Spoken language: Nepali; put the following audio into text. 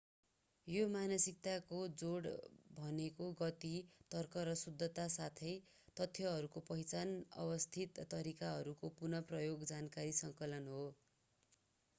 यो मानसिकताको जोड भनेको गति तर्क र शुद्धता साथै तथ्यहरूको पहिचान अवस्थित तरिकाहरूको पुनः प्रयोग जानकारी सङ्कलन हो